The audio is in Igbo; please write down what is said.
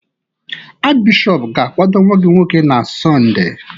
Achịbishọp ga-akwado nwa gị nwoke na Sọnde?